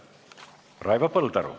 Raivo Põldaru.